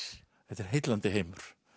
þetta er heillandi heimur